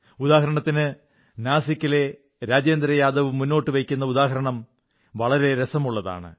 ഉദാഹരണത്തിന് നാസിക്കിലെ രാജേന്ദ്രയാദവ് മുന്നോട്ടു വയ്ക്കുന്ന ഉദാഹരണം വളരെ രസമുള്ളതാണ്